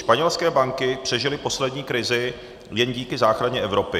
Španělské banky přežily poslední krizi jen díky záchraně Evropy.